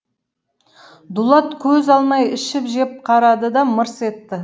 дулат көз алмай ішіп жеп қарады да мырс етті